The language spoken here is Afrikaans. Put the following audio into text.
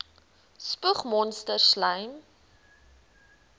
spoeg monsters slym